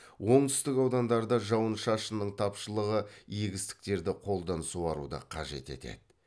оңтүстік аудандарда жауын шашынның тапшылығы егістіктерді қолдан суаруды қажет етеді